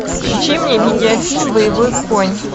включи мне видеофильм боевой конь